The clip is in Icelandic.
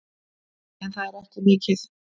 En það er ekki mikið.